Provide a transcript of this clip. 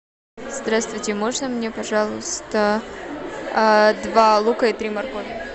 здравствуйте можно мне пожалуйста два лука и три моркови